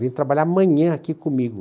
Vem trabalhar amanhã aqui comigo.